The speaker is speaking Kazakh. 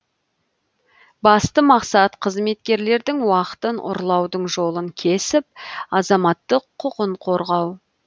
басты мақсат қызметкерлердің уақытын ұрлаудың жолын кесіп азаматтық құқын қорғау